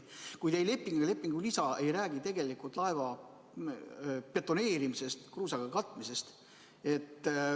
Kuid ei leping ega lepingu lisa ei räägi laeva betoneerimisest ega kruusaga katmisest.